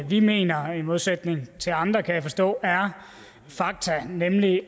vi mener i modsætning til andre kan jeg forstå nemlig